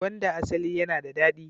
Gwanda asali yana da dadi.